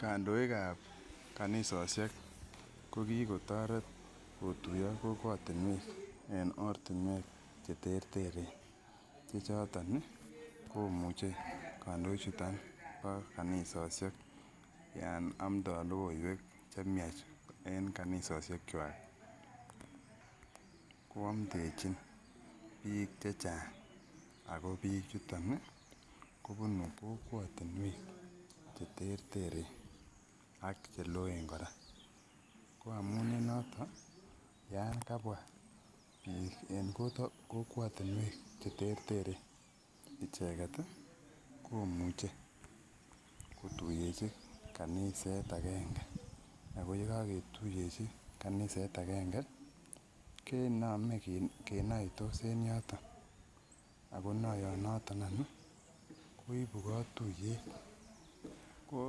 Kondoikab kanisoshek ko kikotoret kotuyo kokwotunwek en ortinwek cheteren che choton nii komuch kondoik chuton bo kanisoshek yon omdo lokoiwek chemiach en kanisoshek kwak ko omdechi bik chechang ako bik chuton nii kobunu kokwetunwek chereteren ak cheloen Koraa ak amun en noton yon kabwa bik en kokwotunwek cheterteren ichek tii komuche kotitechi kaniset agenge ako yekoketuyechi kaniset agenge kenome kenoitos en yoton ako noyot niton anyi koibu kotuyet ko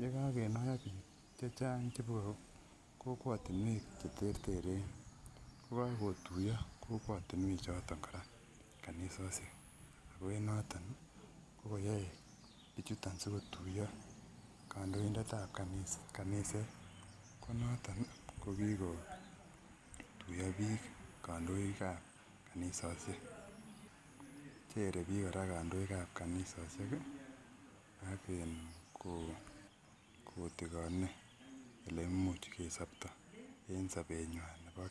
yekokenoyo bik chechang chebo kokwotunwek cheterteren ko kokotuyo kokwotunwek choto Koraa kanisoshek ako en noton ko koyoe bichuton asikotuyo bichuton kondoindetab kaniset ko noton nii ko kokotuyo bik kondoikab kanisoshek. Chere bik Koraa kondoikab kanisoshek kii ak in kotigone ole imuch kesobto en somebywan nebo Kila.